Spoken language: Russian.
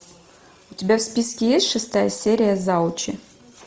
у тебя в списке есть шестая серия завучи